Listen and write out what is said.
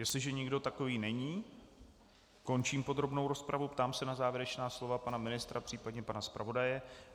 Jestliže nikdo takový není, končím podrobnou rozpravu a ptám se na závěrečná slova pana ministra, případně pana zpravodaje.